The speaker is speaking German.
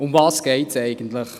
Worum geht es eigentlich?